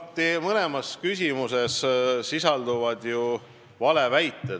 Teie mõlemas küsimuses sisalduvad ju valeväited.